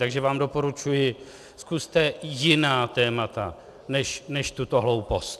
Takže vám doporučuji, zkuste jiná témata než tuto hloupost.